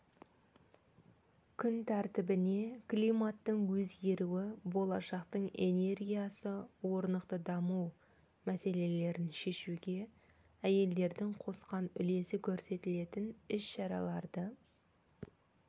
күн тәртібіне климаттың өзгеруі болашақтың энергиясы орнықты даму мәселелерін шешуге әйелдердің қосқан үлесі көрсетілетін іс-шараларды